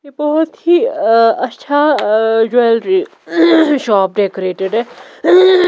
यह बहुत ही अ अच्छा अ ज्वेलरी डेकोरेटेड है।